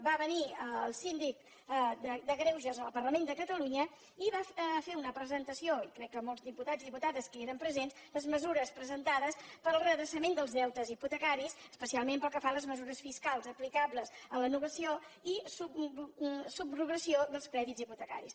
va venir el síndic de greuges al parlament de catalunya i va fer una presentació i crec que molts diputats i diputades hi eren presents de les mesures presentades per al redreçament dels deutes hipotecaris especialment pel que fa a les mesures fiscals aplicables a la novació i subrogació dels crèdits hipotecaris